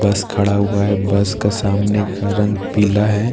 बस खड़ा हुआ हैं बस का सामने का रंग पीला हैं औ --